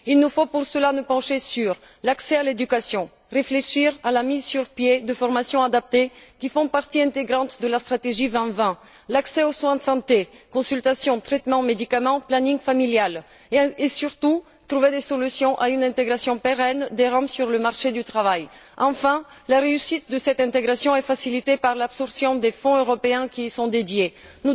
Il nous faut pour cela nous pencher sur l'accès à l'éducation, réfléchir à la mise sur pied de formations adaptées qui font partie intégrante de la stratégie 2020, promouvoir l'accès aux soins de santé consultations, traitements, médicaments, planning familial et, surtout, trouver des solutions pour une intégration pérenne des Roms sur le marché du travail. Enfin, la réussite de cette intégration est facilitée par le recours aux fonds européens qui y sont consacrés.